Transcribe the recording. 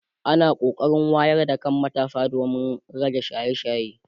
ana kokarin wayar da kan matasa domin rage shaye shaye